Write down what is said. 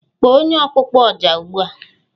Kpọọ onye ọkpụkpọ Oja ugbu a!